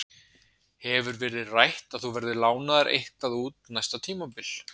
Hefur verið rætt að þú verðir lánaður eitthvað út næsta tímabil?